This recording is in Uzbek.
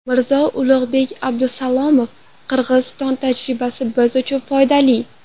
Mirzo Ulug‘bek Abdusalomov: Qirg‘iziston tajribasi biz uchun foydali.